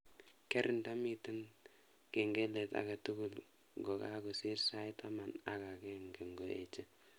Keer ndamiten kengelet agetugul ngokakosiir sait taman ak agenge ngoeche